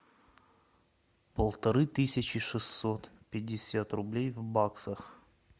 полторы тысячи шестьсот пятьдесят рублей в баксах